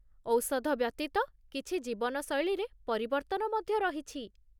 ଔଷଧ ବ୍ୟତୀତ, କିଛି ଜୀବନଶୈଳୀରେ ପରିବର୍ତ୍ତନ ମଧ୍ୟ ରହିଛି।